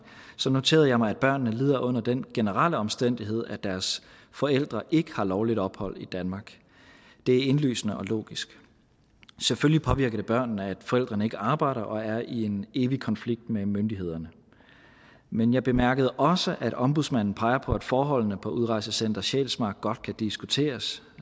noterede jeg mig at børnene lider under den generelle omstændighed at deres forældre ikke har lovligt ophold i danmark det er indlysende og logisk selvfølgelig påvirker det børnene at forældrene ikke arbejder og er i en evig konflikt med myndighederne men jeg bemærkede også at ombudsmanden peger på at forholdene på udrejsecenter sjælsmark godt kan diskuteres